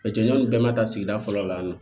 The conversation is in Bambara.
nin bɛɛ ma taa sigida fɔlɔ la yan nɔ